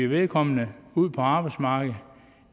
vedkommende ud på arbejdsmarkedet